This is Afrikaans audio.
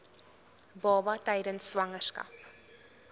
baba tydens swangerskap